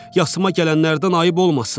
Yasıma gələnlərdən ayıb olmasın.